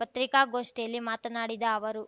ಪತ್ರಿಕಾಗೋಷ್ಠಿಯಲ್ಲಿ ಮಾತನಾಡಿದ ಅವರು